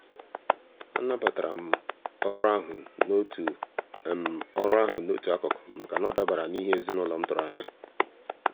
a nabatara m orụ ahụ n'otu orụ ahụ n'otu akụkụ maka na ọ dabara n'ihe ezinaụlọ m tụrụ anya.